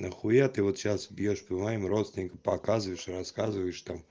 нахуя ты вот сейчас бьёшь по моим родственников показываешь рассказываешь там